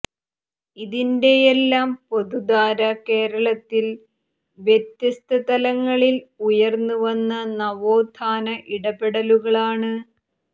ഇതിന്റെയെല്ലാം പൊതുധാര കേരളത്തിൽ വ്യത്യസ്ത തലങ്ങളിൽ ഉയർന്ന് വന്ന നവോത്ഥാന ഇടപെടലുകളാണ്